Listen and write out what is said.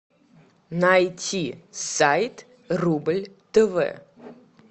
найти сайт рубль тв